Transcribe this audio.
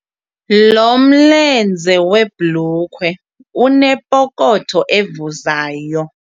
Lo mlenze webhulukhwe unepokotho evuzayo.